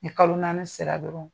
Ni kalo naani sera dɔrɔn